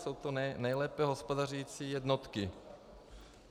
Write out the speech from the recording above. Jsou to nejlépe hospodařící jednotky.